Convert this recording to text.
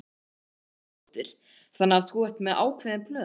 Karen Kjartansdóttir: Þannig að þú ert með ákveðin plön?